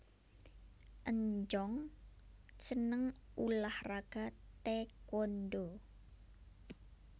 Eun Jung seneng ulah raga Tae Kwon Do